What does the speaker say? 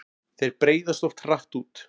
Þeir breiðast oft hratt út.